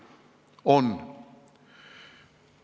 On!